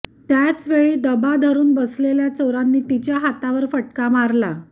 त्याच वेळी दबा धरून बसलेल्या चोरांनी तिच्या हातावर फटका मारला